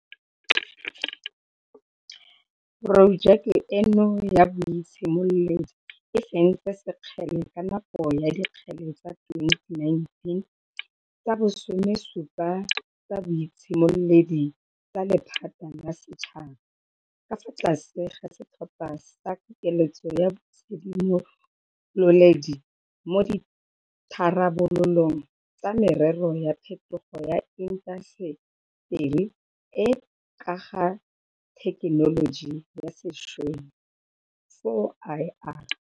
Porojeke eno ya boitshimoledi e fentse sekgele ka nako ya Dikgele tsa 2019 tsa bo 17 tsa Boitshimoledi tsa Lephata la Setšhaba, ka fa tlase ga setlhopha sa Pokeletso ya Boitshimololedi mo Ditharabololong tsa Merero ya Phetogo ya Inta seteri e e ka ga Thekenoloji ya Sešweng, 4IR.